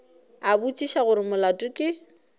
a botšiša gore molato ke